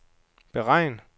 beregn